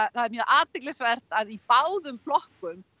það er mjög athyglisvert að í báðum flokkum